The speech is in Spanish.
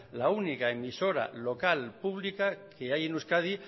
la única emisora local publica que hay en euskadi